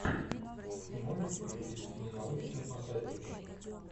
ты можешь включить ненаучную фантастику